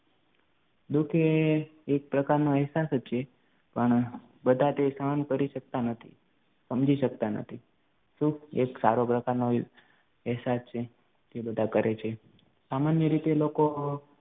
દુઃખ એ એક પ્રકારનો એહસાસ જ છે પણ બધા તે સહન કરી શકતા નથી, સમજી સકતા નથી. સુખ એક સારો પ્રકારનો એક એહસાસ છે કે બધા કરે છે સામાન્ય રીતે લોકો